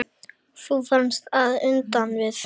Þú varst að enda við.